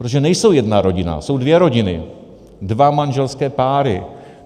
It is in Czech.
Protože nejsou jedna rodina, jsou dvě rodiny, dva manželské páry.